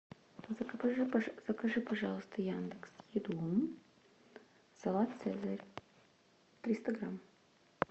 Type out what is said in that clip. закажи пожалуйста яндекс еду салат цезарь триста грамм